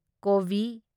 ꯀꯣꯕꯤ